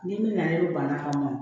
Ni min na na ne banna ka mɔ mɔ